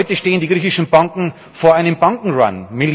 Heute stehen die griechischen Banken vor einem Bankenrun